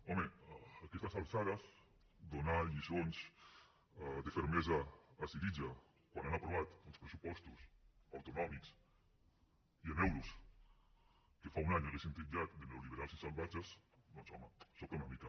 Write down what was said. home a aquestes alçades donar lliçons de fermesa a syriza quan han aprovat uns pressupostos autonòmics i en euros que fa un any haurien titllat de neoliberals i salvatges doncs home sobta una mica